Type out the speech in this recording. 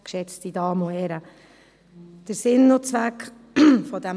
Darauf muss ich nicht mehr eingehen.